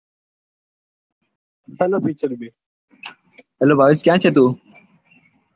Hello Bhavesh ક્યાં છે તું